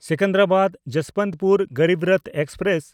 ᱥᱮᱠᱮᱱᱫᱨᱟᱵᱟᱫ–ᱡᱚᱥᱵᱚᱱᱛᱯᱩᱨ Garib Rath express